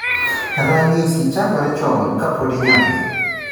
. Ranyisi chakore chon kapod inyath